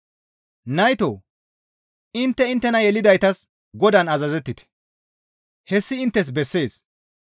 Naytoo! Intte inttena yelidaytas Godaan azazettite; hessi inttes bessees.